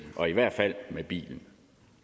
og i hvert fald i bilen